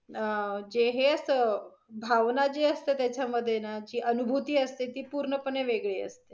अं जे हे अस, भावना जे असत त्याच्या मधे न, जी अनुभूती असते ती पूर्णपणे वेगळी असते.